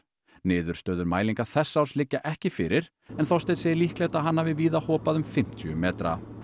niðurstöður mælingar þessa árs liggja ekki fyrir en Þorsteinn segir líklegt að hann hafi víða hopað um fimmtíu metra